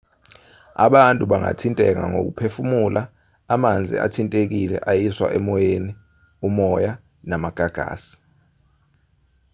abantu bangathinteka ngokuphefumula amanzi athintekile ayiswa emoyeni umoya namagagasi